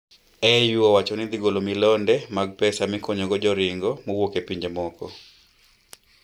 Eu owacho ni dhi golo milionde mag pesa mikonyo go joringo mowuok e pinje moko